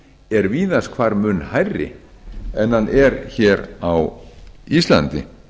er víðast hvar mun hærri en hann er hér á íslandi